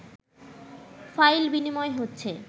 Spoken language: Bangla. ফাইল বিনিময় হচ্ছে